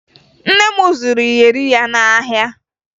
Nne m zụrụ iyeri ya n'ahịa